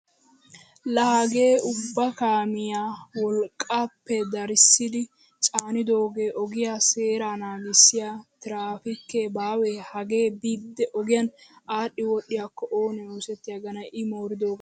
Laa hagee ubba kaamiyaa wolqqaappe darissidi caanidoogaa ogiyaa seeraa naggisiyaa tiraapiikee baawee hagee biidi ogiyaan adhi wodhiyaakko oonee oysgetanee i mooridogan?